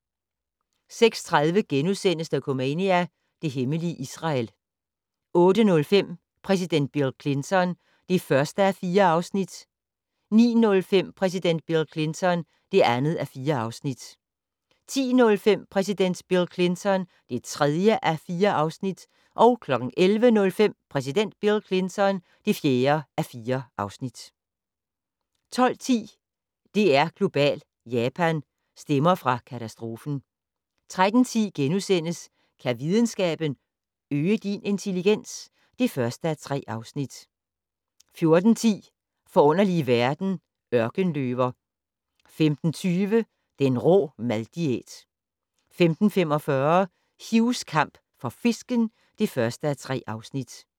06:30: Dokumania: Det hemmelige Israel * 08:05: Præsident Bill Clinton (1:4) 09:05: Præsident Bill Clinton (2:4) 10:05: Præsident Bill Clinton (3:4) 11:05: Præsident Bill Clinton (4:4) 12:10: DR2 Global: Japan - stemmer fra katastrofen 13:10: Kan videnskaben - øge din intelligens? (1:3)* 14:10: Forunderlige verden - Ørkenløver 15:20: Den rå mad-diæt 15:45: Hughs kamp for fisken (1:3)